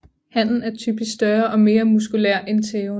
Hanen er typisk større og mere muskulær end tæven